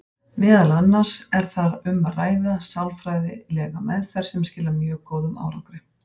Meðal annars er þar um að ræða sálfræðilega meðferð sem skilar mjög góðum árangri.